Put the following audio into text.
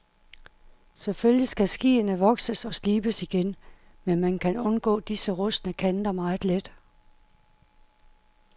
Selvfølgelig skal skiene vokses og slibes igen, men man kan undgå disse rustne kanter meget let.